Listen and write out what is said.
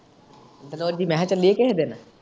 ਦਰੋਜ਼ੀ ਮੈਂ ਕਿਹਾ ਚੱਲੀਏ ਕਿਹੇ ਦਿਨ?